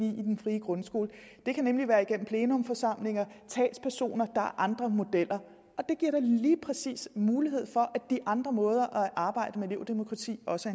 i den frie grundskole det kan nemlig være igennem plenumforsamlinger talspersoner er andre modeller og det giver da lige præcis mulighed for at de andre måder at arbejde med elevdemokrati på også